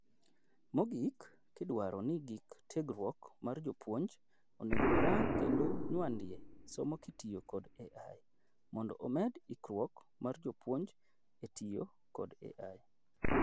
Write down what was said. Mogik, gidwaro ni gik tiegruok mar jopuonj onego orang kendo nyuandie somo kitiyo kod AI, mondo omed ikruok mar jopuonj etiyo kod AI.